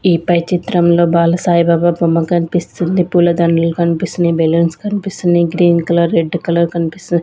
ఈ పై చిత్రంలో బాల సాయిబాబా బొమ్మ కనిపిస్తుంది పూలదండలు కనిపిస్తున్నయ్ బెలూన్స్ కనిపిస్తున్నయ్ గ్రీన్ కలర్ రెడ్ కలర్ కనిపిస్తు --